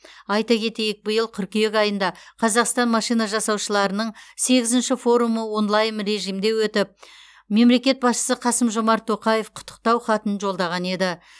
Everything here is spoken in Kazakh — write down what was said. айта кетейік биыл қыркүйек айында қазақстан машина жасаушыларының сегізінші форумы онлайн режимде өтіп мемлекет басшысы қасым жомарт тоқаев құттықтау хатын жолдаған еді